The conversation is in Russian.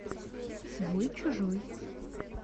свой чужой